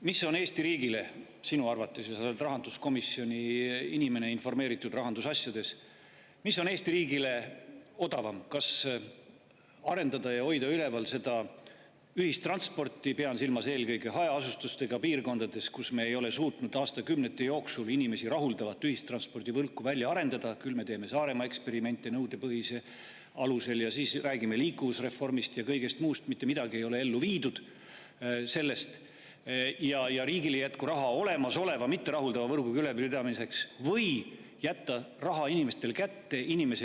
Mis on Eesti riigile sinu arvates – sa oled rahanduskomisjoni inimene ja informeeritud rahandusasjadest – odavam: kas arendada ja hoida üleval ühistransporti – pean silmas eelkõige hajaasustusega piirkondades, kus me ei ole suutnud aastakümnete jooksul inimesi rahuldavat ühistranspordivõrku välja arendada, küll me teeme Saaremaal nõudepõhisuse eksperimenti ja siis räägime liikuvusreformist ja kõigest muust, aga mitte midagi sellest ei ole ellu viidud ja riigil ei jätku raha olemasoleva mitterahuldava võrgu ülalpidamiseks – või jätta raha inimestele kätte?